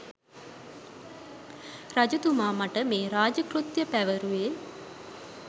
රජතුමා මට මේ රාජ කෘත්‍ය පැවරුවේ